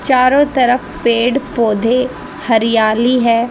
चारों तरफ पेड़ पौधे हरियाली है।